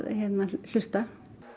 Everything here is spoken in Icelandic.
hlusta